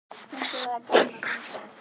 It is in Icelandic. Eins og það er gaman að dansa!